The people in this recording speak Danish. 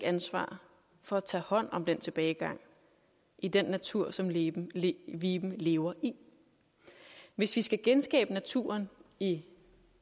ansvar for at tage hånd om den tilbagegang i den natur som viben viben lever i hvis vi skal genskabe naturen i